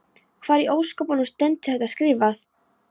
Hvar í ósköpunum stendur þetta skrifað?